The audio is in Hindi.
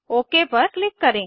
ओक पर किलक करें